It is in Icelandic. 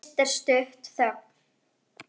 Fyrst er stutt þögn.